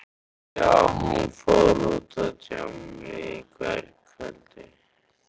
Já, hún fór út á djammið í gærkvöldi.